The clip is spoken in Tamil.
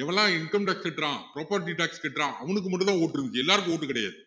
எவன் எல்லாம் income tax கட்டுறான் proper கட்டுறான் அவனுக்கு மட்டும் தான் vote இருந்திச்சு எல்லாருக்கும் vote கிடையாது